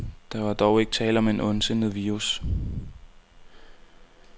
Der var dog ikke tale om en ondsindet virus.